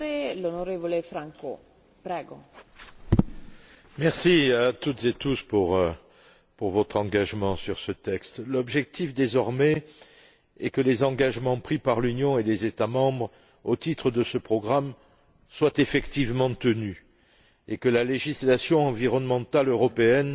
Madame la Présidente, merci à toutes et à tous pour votre engagement sur ce texte. L'objectif désormais est que les engagements pris par l'Union et les États membres au titre de ce programme soient effectivement tenus et que la législation environnementale européenne